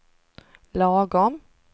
lagom